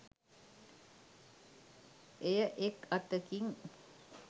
එය එක් අතකින්